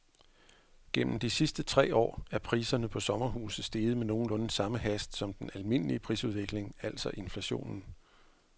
Gennem de sidste tre år er priserne på sommerhuse steget med nogenlunde samme hast som den almindelige prisudvikling, altså inflationen.